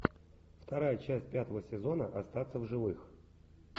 вторая часть пятого сезона остаться в живых